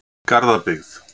Garðabyggð